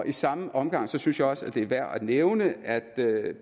i samme omgang synes jeg også det er værd at nævne at